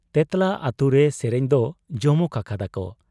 ᱛᱮᱸᱛᱞᱟ ᱟᱹᱛᱩᱨᱮ ᱥᱮᱨᱮᱧ ᱫᱚ ᱡᱚᱢᱚᱠ ᱟᱠᱟᱫᱟᱠᱚ ᱾